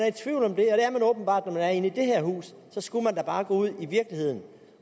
åbenbart når man er inde i det her hus skulle man da bare gå ud i virkeligheden